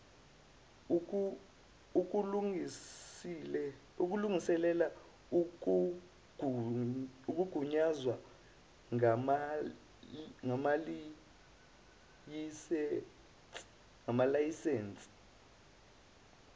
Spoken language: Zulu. ukulungisela ukugunyazwa ngamalayisensi